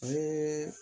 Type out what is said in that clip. A ye